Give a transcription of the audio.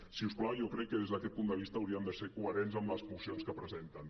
si us plau jo crec que des d’aquest punt de vista haurien de ser coherents amb les mocions que presenten